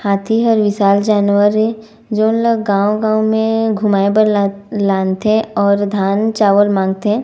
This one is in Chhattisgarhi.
हाथी ह विशाल जानवर ये जेन ला गांव-गांव घुमाये बर लानथे अऊ धान चावल मांग थे।